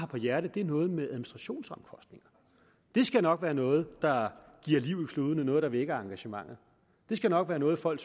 på hjerte er noget med administrationsomkostninger det skal nok være noget der giver liv i kludene noget der vækker engagementet det skal nok være noget folk